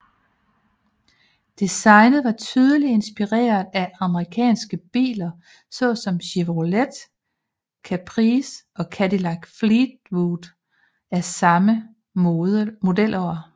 Designet var tydeligt inspireret af amerikanske biler såsom Chevrolet Caprice og Cadillac Fleetwood af samme modelår